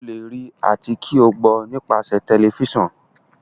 o le rí àti kí o gbó nípasẹ Tẹlifísàn.